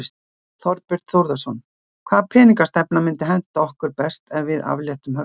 Þorbjörn Þórðarson: Hvaða peningastefna myndi henta okkur best eftir að við afléttum höftunum?